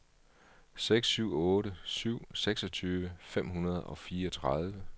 seks syv otte syv seksogtyve fem hundrede og fireogtredive